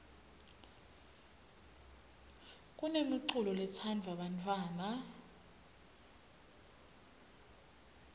kunemiculo letsandvwa bantfwana